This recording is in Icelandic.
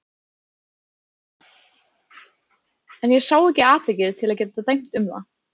En ég sá ekki atvikið til að geta dæmt um það.